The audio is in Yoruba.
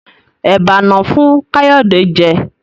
Eba no wón fún Kayode jé.